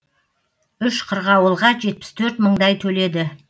үш қырғауылға жетпіс төрт мыңдай төледі